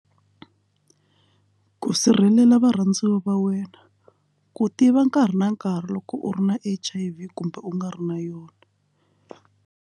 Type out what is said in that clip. Ku sirhelela varhandziwa va wena ku tiva nkarhi na nkarhi loko u ri na H_I_V kumbe u nga ri na yona.